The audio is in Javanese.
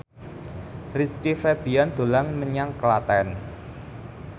Rizky Febian dolan menyang Klaten